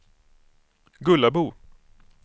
Gullabo